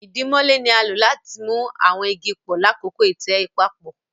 idimole ní a lò láti mú àwọn ìgi pọ lakọkọ itẹ papọ